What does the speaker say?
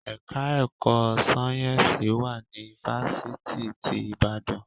Ẹka ẹ̀kọ́ sáyẹ́nsì wà ní ifáfitì ti Ìbàdàn.